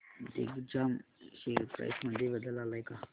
Digjam share price मध्ये बदल आलाय का